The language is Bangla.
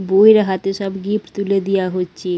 বৌয়ের হাতে সব গিফট তুলে দেওয়া হচ্ছে।